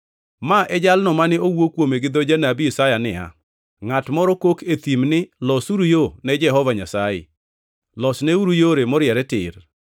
Ma e jalno mane owuo kuome gi dho janabi Isaya niya, “Ngʼat moro kok e thim ni, ‘Losuru yo ne Jehova Nyasaye, losneuru yore moriere tir.’ ”+ 3:3 \+xt Isa 40:3\+xt*